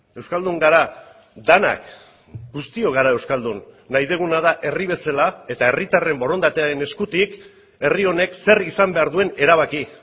euskaldun gara denak guztiok gara euskaldun nahi duguna da herri bezala eta herritarren borondatearen eskutik herri honek zer izan behar duen erabaki